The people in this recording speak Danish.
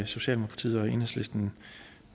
socialdemokratiet og enhedslisten